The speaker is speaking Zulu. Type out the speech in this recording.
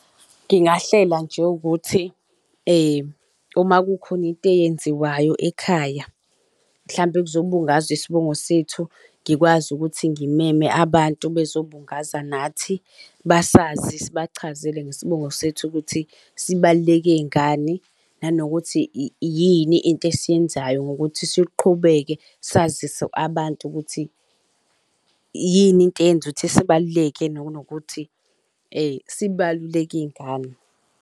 Ngingahlela nje ukuthi uma kukhona into eyenziwayo ekhaya mhlampe kuzobungazwa isibongo sethu ngikwazi ukuthi ngimeme abantu bezobungaza nathi basazi sibachazele ngesibongo sethu ukuthi sibaluleke ngani nanokuthi yini into esiyenzayo nokuthi siqhubeke sazise abantu ukuthi yini into eyenza ukuthi sibaluleke nokuthi sibaluleke ngani.